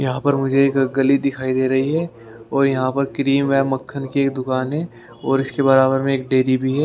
यहां पर मुझे एकक गली दिखाई दे रही है और यहां पर क्रीम है मक्खन की एक दुकान है और इसके बराबर में एक डेयरी भी है।